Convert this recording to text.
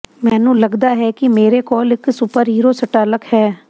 ਮੈਨੂੰ ਲਗਦਾ ਹੈ ਕਿ ਮੇਰੇ ਕੋਲ ਇੱਕ ਸੁਪਰਹੀਰੋ ਸਟਾਲਕ ਹੈ